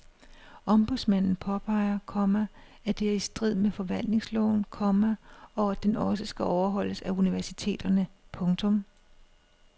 Ombudsmanden påpeger, komma at det er i strid med forvaltningsloven, komma og at den også skal overholdes af universiteterne. punktum